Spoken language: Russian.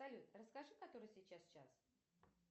салют расскажи который сейчас час